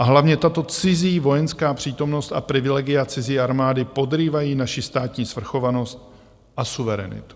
A hlavně tato cizí vojenská přítomnost a privilegia cizí armády podrývají naši státní svrchovanost a suverenitu.